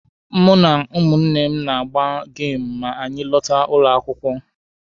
Mụ na ụmụnne m na-agba geemụ ma anyị lọta ụlọ akwụkwọ.